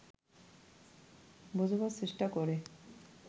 বোঝাবার চেষ্টা করে